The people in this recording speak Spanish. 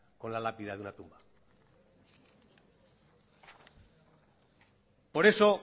con la lápida de una tumba por eso